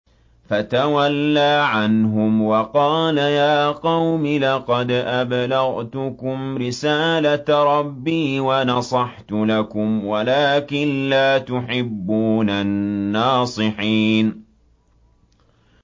فَتَوَلَّىٰ عَنْهُمْ وَقَالَ يَا قَوْمِ لَقَدْ أَبْلَغْتُكُمْ رِسَالَةَ رَبِّي وَنَصَحْتُ لَكُمْ وَلَٰكِن لَّا تُحِبُّونَ النَّاصِحِينَ